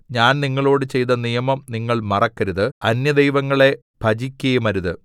ഞാൻ നിങ്ങളോട് ചെയ്ത നിയമം നിങ്ങൾ മറക്കരുത് അന്യദൈവങ്ങളെ ഭജിക്കയുമരുത്